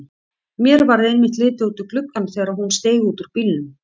Mér varð einmitt litið út um gluggann þegar hún steig út úr bílnum.